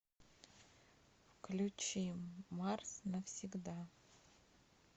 включи марс навсегда